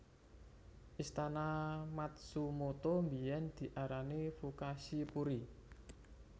Istana Matsumoto biyen diarani Fukashi Puri